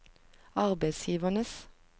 arbeidsgivernes